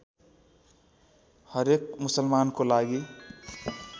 हरेक मुसलमानको लागि